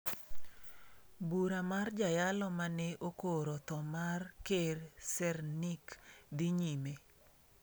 Bura mar jayalo ma ne okoro tho mar ker Sernik dhi nyime